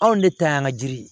Anw de ta y'an ka jiri ye